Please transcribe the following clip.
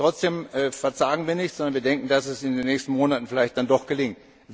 Trotzdem verzagen wir nicht, sondern wir denken, dass es in den nächsten Monaten vielleicht doch gelingt.